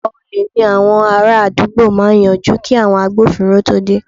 Ọ̀pọ̀ olè ní àwọn ará àdúgbò máa yanjú kí àwọn agbófinró tó dé